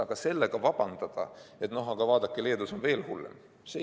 Aga sellega vabandada, et noh, vaadake, Leedus on veel hullem!